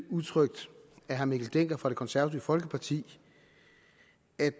udtrykt af herre mikkel dencker fra det konservative folkeparti